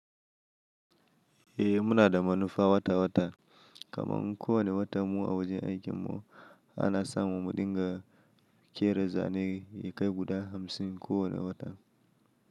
Eh muna da manufa wata wata kamar kowane watan mu a wajen aikin mu, ana sa mu mu dinga ƙera zane ya kai guda hamsin kowane wata.